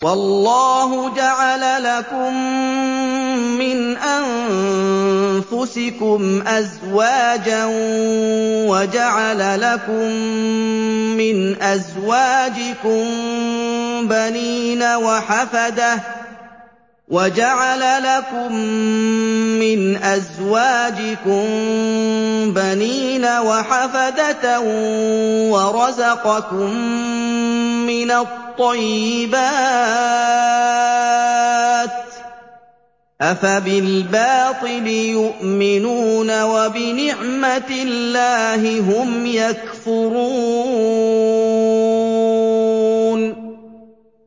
وَاللَّهُ جَعَلَ لَكُم مِّنْ أَنفُسِكُمْ أَزْوَاجًا وَجَعَلَ لَكُم مِّنْ أَزْوَاجِكُم بَنِينَ وَحَفَدَةً وَرَزَقَكُم مِّنَ الطَّيِّبَاتِ ۚ أَفَبِالْبَاطِلِ يُؤْمِنُونَ وَبِنِعْمَتِ اللَّهِ هُمْ يَكْفُرُونَ